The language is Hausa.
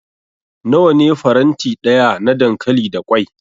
Nawa ne faranti daya na dankali da kwai?